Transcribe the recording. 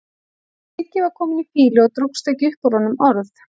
En Siggi var kominn í fýlu og dróst ekki upp úr honum orð.